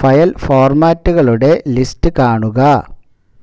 file ഫോർമാറ്റുകളുടെ list കാണുക